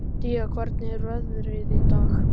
Día, hvernig er veðrið í dag?